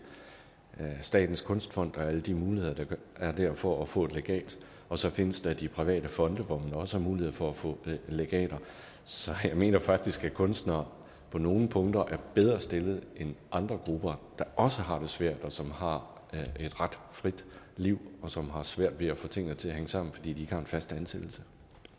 statens kunstfond og alle de muligheder der er der for at få et legat og så findes der de private fonde hvor man også har mulighed for at få legater så jeg mener faktisk at kunstnere på nogle punkter er bedre stillet end andre grupper der også har det svært og som har et ret frit liv og som har svært ved at få tingene til at hænge sammen fordi de ikke har en fast ansættelse